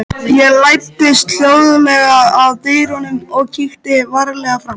Ég læddist hljóðlega að dyrunum og kíkti varlega fram.